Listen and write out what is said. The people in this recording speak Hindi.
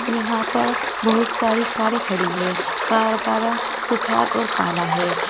यहां पर बहुत सारी कारे खड़ी हैं कार का रंग सफेद और काला है।